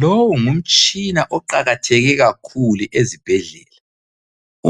Lowu ngumtshina oqakatheke kakhulu ezibhedlela.